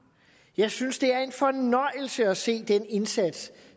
jeg synes det er en fornøjelse at se den indsats